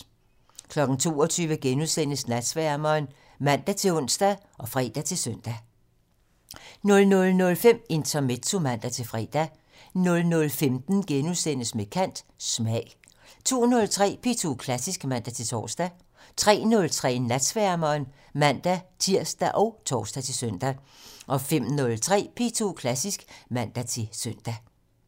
22:00: Natsværmeren *(man-ons og fre-søn) 00:05: Intermezzo (man-fre) 00:15: Med kant - Smag * 02:03: P2 Klassisk (man-tor) 03:03: Natsværmeren (man-tir og tor-søn) 05:03: P2 Klassisk (man-søn)